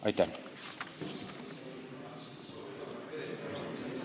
Aitäh!